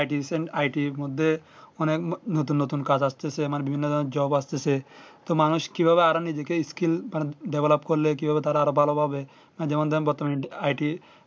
Itison it এর মধ্যে মানে নতুন নতুন কাজ আসতেছে আবার বিভিন্ন ধরণের job আসতেছে তো মানুষ কি ভাবে আরো নিজেকে skills মানে Develop করলে কিভাবে তারা আরো ভালো ভাবে বর্তমান ind it